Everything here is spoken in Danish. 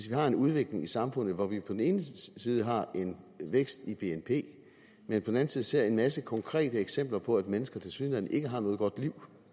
vi har en udvikling i samfundet hvor vi på den ene side har en vækst i bnp men på den side ser en masse konkrete eksempler på at mennesker tilsyneladende ikke har noget godt liv